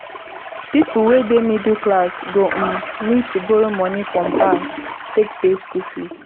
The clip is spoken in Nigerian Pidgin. pipo wey dey middle class go um need to borrow money from bank take pay school fees